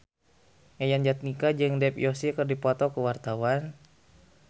Yayan Jatnika jeung Dev Joshi keur dipoto ku wartawan